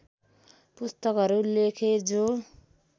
पुस्तकहरू लेखे जो